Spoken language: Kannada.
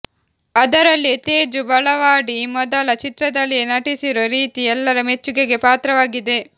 ಅದರಲ್ಲಿಯೂ ತೇಜು ಬೆಳವಾಡಿ ಮೊದಲ ಚಿತ್ರದಲ್ಲಿಯೇ ನಟಿಸಿರೋ ರೀತಿ ಎಲ್ಲರ ಮೆಚ್ಚುಗೆಗೆ ಪಾತ್ರವಾಗಿದೆ